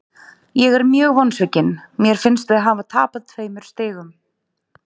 Ég er mjög vonsvikinn, mér finnst við hafa tapað tveimur stigum.